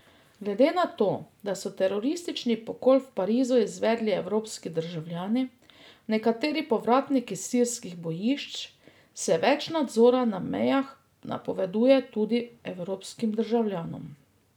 Glede na to, da so teroristični pokol v Parizu izvedli evropski državljani, nekateri povratniki s sirskih bojišč, se več nadzora na mejah napoveduje tudi evropskim državljanom.